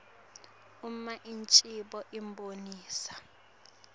uma ingcikitsi ibonisa